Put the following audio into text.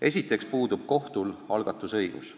Esiteks puudub kohtul algatusõigus.